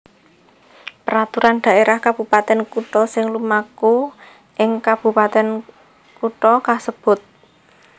Peraturan Dhaérah Kabupatèn Kutha sing lumaku ing kabupatèn kutha kasebut